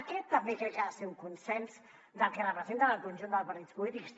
aquest també crec que ha de ser un consens del que representen el conjunt dels partits polítics